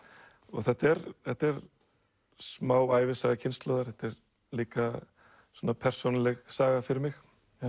þetta er þetta er smá ævisaga kynslóðar þetta er líka svona persónuleg saga fyrir mig